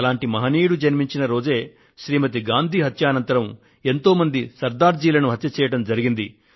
అలాంటి మహనీయుడు జన్మించిన రోజు శ్రీమతి గాంధీ హత్యానంతరం ఎంతోమంది సర్దార్ జీలను హత్య చేయడం జరిగింది